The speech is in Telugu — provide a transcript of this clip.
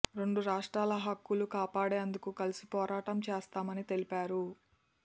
రెండు రాష్ట్రాల హక్కులు కాపాడేందుకు కలిసి పోరాటం చేస్తామని తెలిపారు